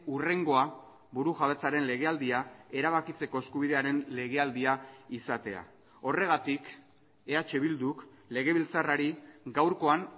hurrengoa burujabetzaren legealdia erabakitzeko eskubidearen legealdia izatea horregatik eh bilduk legebiltzarrari gaurkoan